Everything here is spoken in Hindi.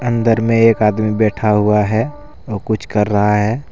अंदर में एक आदमी बैठा हुआ है वो कुछ कर रहा है ।